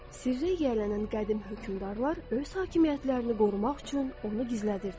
Sirrə yiyələnən qədim hökmdarlar öz hakimiyyətlərini qorumaq üçün onu gizlədirdilər.